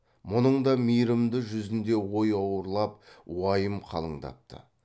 мұның да мейірімді жүзінде ой ауырлап уайым қалыңдапты